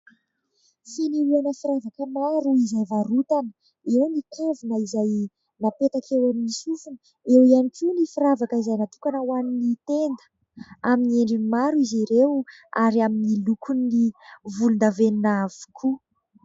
Fanehoana firavaka maro izay varotana. Eo ny kavina izay napetaka eo amin'ny sofina, eo ihany koa ny firavaka izay natokana ho amin'ny tenda ; amin'ny endriny maro izy ireo ary amin'ny lokony volondavenona avokoa.